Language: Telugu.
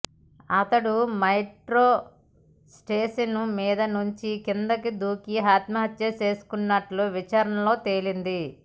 అతడు మెట్రో స్టేషను మీద నుంచి కిందకి దూకి ఆత్మహత్య చేసుకున్నట్లు విచారణలో తేలింది